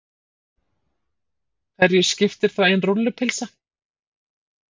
Hverju skipti þá ein rúllupylsa.